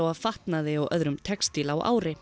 fatnaði og öðrum textíl á ári